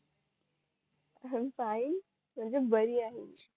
I am fine म्हणजे बरी आहे मी